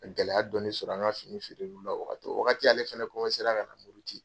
Ka gɛlɛya dɔn sɔrɔ an ka fini feere la o wagati . O wagati ale fɛnɛ ka na muruti.